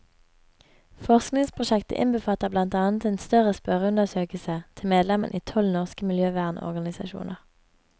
Forskningsprosjektet innbefatter blant annet en større spørreundersøkelse til medlemmene i tolv norske miljøvernorganisasjoner.